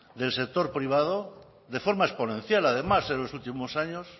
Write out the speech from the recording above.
del sector privado de forma exponencial además en los últimos años